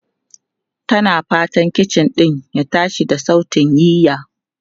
Tana fatan kicin din ya tashi da sautin yiya.